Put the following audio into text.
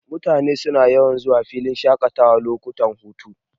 Mutane suna yawan zuwa filin shaƙatawa lokutan hutu.,